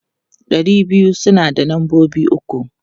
Ɗari biyu suna da lambobi uku.